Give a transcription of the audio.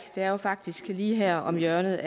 det er jo faktisk lige her om hjørnet